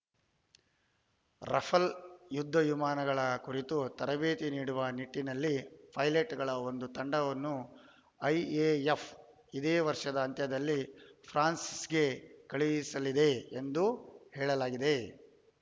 Rafale ಯುದ್ಧ ವಿಮಾನಗಳ ಕುರಿತು ತರಬೇತಿ ನೀಡುವ ನಿಟ್ಟಿನಲ್ಲಿ ಪೈಲಟ್‌ಗಳ ಒಂದು ತಂಡವನ್ನು ಐಎಎಫ್‌ ಇದೇ ವರ್ಷದ ಅಂತ್ಯದಲ್ಲಿ ಫ್ರಾನ್ಸ್‌ಗೆ ಕಳುಹಿಸಲಿದೆ ಎಂದು ಹೇಳಲಾಗಿದೆ